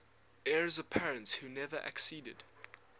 heirs apparent who never acceded